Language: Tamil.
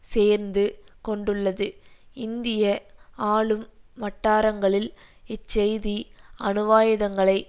சேர்ந்து கொண்டுள்ளது இந்திய ஆளும் வட்டாரங்களில் இச் செய்தி அணுவாயுதங்களைக்